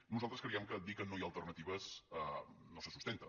nosaltres creiem que dir que no hi ha alternatives no se sustenta